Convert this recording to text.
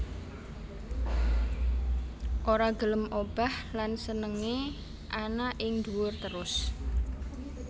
Ora gelem obah lan senengé ana ing duwur terus